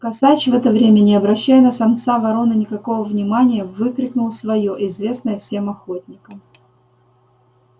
косач в это время не обращая на самца вороны никакого внимания выкрикнул своё известное всем охотникам